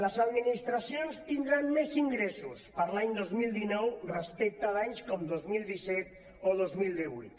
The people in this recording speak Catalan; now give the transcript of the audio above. les administracions tindran més ingressos per a l’any dos mil dinou respecte a anys com dos mil disset o dos mil divuit